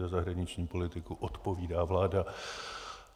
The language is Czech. Za zahraniční politiku odpovídá vláda.